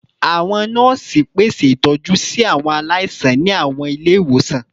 Awọn nọọsi pese itọju si awọn alaisan ni awọn ile-iwosan